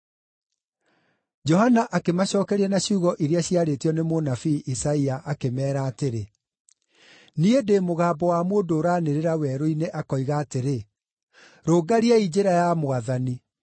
Johana akĩmacookeria na ciugo iria ciarĩtio nĩ mũnabii Isaia, akĩmeera atĩrĩ, “Niĩ ndĩ mũgambo wa mũndũ ũranĩrĩra werũ-inĩ akoiga atĩrĩ, ‘Rũngariai njĩra ya Mwathani.’ ”